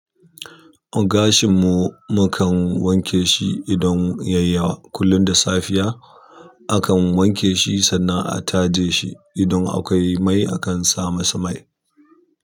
Gashin mu mukan wanke shi idan yayi yawa, kullum da safiya. Akan wanke shi sannan a taje shi. Idan akwai mai akan sa masa mai.